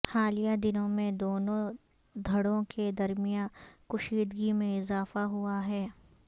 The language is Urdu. حالیہ دنوں میں دونوں دھڑوں کے درمیان کشیدگی میں اضافہ ہوا ہے